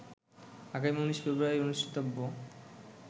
আগামী ১৯ ফেব্রুয়ারি অনুষ্ঠিতব্য